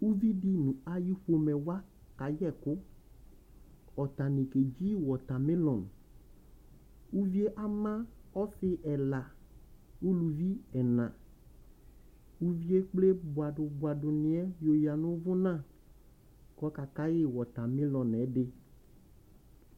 Uvi dɩ nʋ ayʋ pomɛ wa akayɛ ɛkʋ Atanɩ kedzi wɔtamelɔŋ Uvi yɛ ama ɔsɩ ɛla, uluvi ɛnaUvi yɛ ekple bʋadʋ bʋadʋnɩ yɛ yǝ nʋ ʋvʋna kʋ ɔkakayɩ wɔtamelɔŋ yɛ